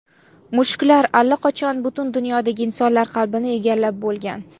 Mushuklar allaqachon butun dunyodagi insonlar qalbini egallab bo‘lgan.